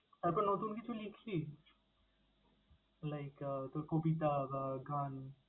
তারপর নতুন কিছু লিখলি like আহ তোর কবিতা বা গান?